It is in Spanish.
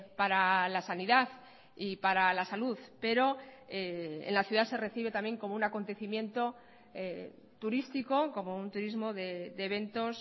para la sanidad y para la salud pero en la ciudad se recibe también como un acontecimiento turístico como un turismo de eventos